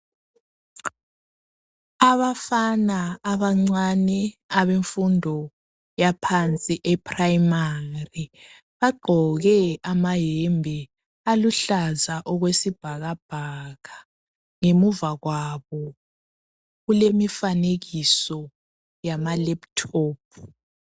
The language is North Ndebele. Abafana abancane abemfundo yaphansi e"primary "bagqoke amayembe aluhlaza okwesibhakabhaka ngemuva kwabo kulemifanekiso yamalephuthophu.